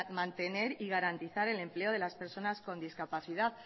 mantener y garantizar el empleo de las personas con discapacidad